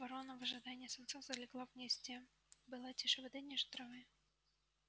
ворона в ожидании самца залегла в гнезде была тише воды ниже травы